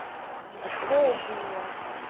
волгине